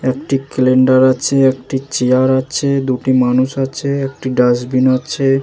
একটি ক্যালেন্ডার আছে। একটি চেয়ার আছে। দুটি মানুষ আছে। একটি ডাস্টবিন আছে।